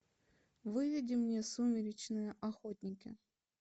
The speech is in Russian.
выведи мне сумеречные охотники